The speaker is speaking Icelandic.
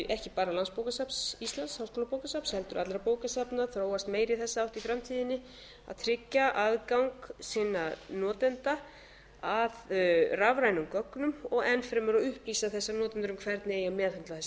ekki bara landsbókasafns íslands háskólabókasafns heldur allra bókasafna þróast meira í þessa átt í framtíðinni að tryggja aðgang sinna notenda að rafrænum gögnum og enn fremur að upplýsa þessa notendur um hvernig eigi að meðhöndla þessi rafrænu gögn